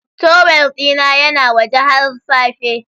Towel dina yana waje har safe.